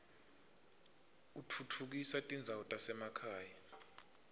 utfutfukisa tindzawo tasemakhaya